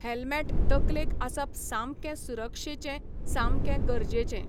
Helmet तकलेक आसप सामकें सुरक्षेचें, सामकें गरजेचें.